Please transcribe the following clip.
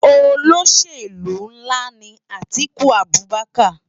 Ólóṣélú nlá ni Atiku Abubaker